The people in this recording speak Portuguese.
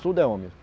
Tudo é homem.